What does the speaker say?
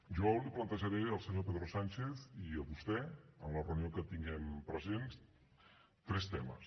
jo li plantejaré al senyor pedro sánchez i a vostè en la reunió que tinguem present tres temes